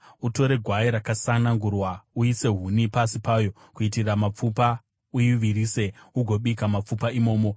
utore gwai rakasanangurwa. Uise huni pasi payo kuitira mapfupa; uivirise ugobika mapfupa imomo.